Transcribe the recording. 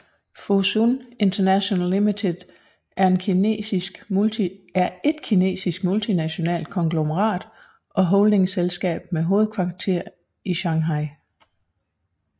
Fosun International Limited er en kinesisk multinationalt konglomerat og holdingselskab med hovedkvarter i Shanghai